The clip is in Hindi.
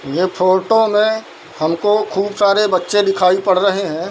ये फोटो में हमको खूब सारे बच्चे दिखाई पड़ रहे है।